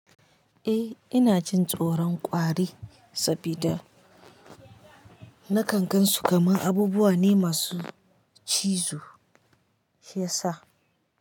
Eh ina cin tsoron ƙwari saboda nakan gan su kamar abubuwa ne masu cizo shi yasa.